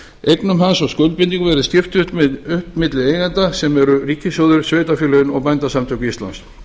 eignum hans og skuldbindingum verði skipt upp milli eigenda sem eru ríkissjóður sveitarfélögin og bændasamtök íslands